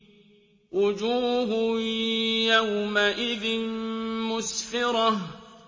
وُجُوهٌ يَوْمَئِذٍ مُّسْفِرَةٌ